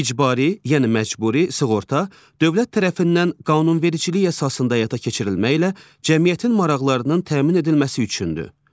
İcbari, yəni məcburi sığorta dövlət tərəfindən qanunvericilik əsasında həyata keçirilməklə cəmiyyətin maraqlarının təmin edilməsi üçündür.